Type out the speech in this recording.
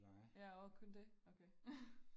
Ja og kun det